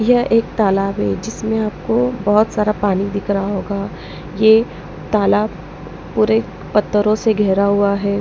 यह एक तालाब है जिसमें आपको बहुत सारा पानी दिख रहा होगा ये तालाब पूरे पत्थरों से घेरा हुआ है।